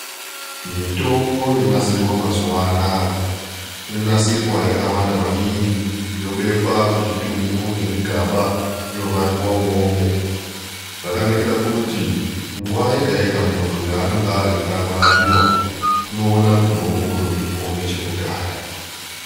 Mitombo yonasirwa mazuwa anaaya inonasirwa yakawanda maningi yobekwa muzvitumbu nezvigaba yovharirwo imwomwo. Zvakanakira kuti nguwa yegayega muntu yaanonga eida kurapiwa unoona mutombo utoripo nechekudhaya.